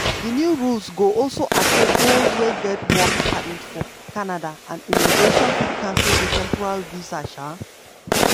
di new rules go also affect dose wey get work permit for canada and immigration fit cancel di temporary visa. um